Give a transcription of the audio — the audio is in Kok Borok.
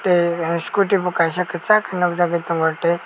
scooty bo kaisa kesak ke nogjago tongo tei.